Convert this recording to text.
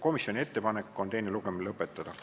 Komisjoni ettepanek on teine lugemine lõpetada.